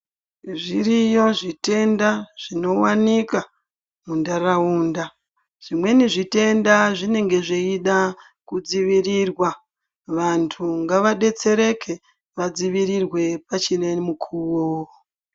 Zviriyo zvitenda zvino wanika mu ndaraunda zvimweni zvitenda zvinenge zveyida ku dzivirirwa vantu ngava detsereke va dzivirwe pachine mukuvo.